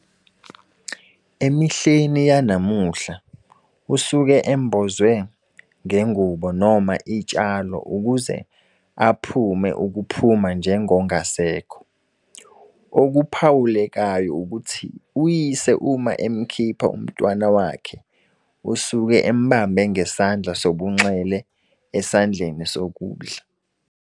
Emihleni yanamuhla usuke embozwe ngengubo noma itshalo ukuze aphume ukuphuma njengongasekho. Okuphawulekayo ukuthi uyise uma emkhipha umntwana wakhe usuke embambe ngesandla sobunxele esandleni sokudla.